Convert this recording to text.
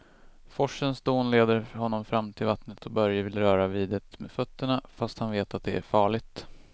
Forsens dån leder honom fram till vattnet och Börje vill röra vid det med fötterna, fast han vet att det är farligt.